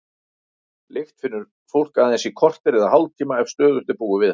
Lykt finnur fólk aðeins í korter eða hálftíma ef stöðugt er búið við hana.